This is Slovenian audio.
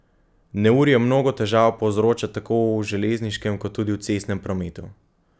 Neurje mnogo težav povzroča tako v železniškem kot tudi v cestnem prometu.